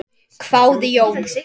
hváði Jón.